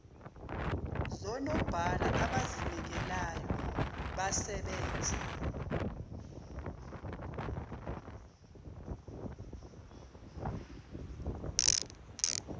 zonobhala abazinikelayo basebenze